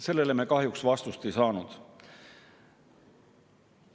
Sellele me kahjuks vastust ei saanud.